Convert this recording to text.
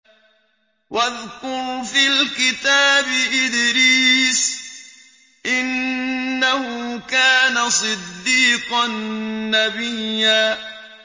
وَاذْكُرْ فِي الْكِتَابِ إِدْرِيسَ ۚ إِنَّهُ كَانَ صِدِّيقًا نَّبِيًّا